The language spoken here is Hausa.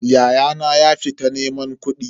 Ya'yana ya fita neman kudi.